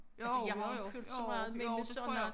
Jo jo jo jo jo det tror jeg